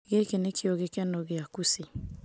"Gĩkĩ nĩkĩo gĩkeno gĩa Kũci".